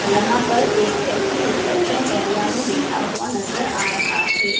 यहाँ पर एक व्यक्ति रिसेप्शन एरिया में बैठा हुआ नजर आ रहा है।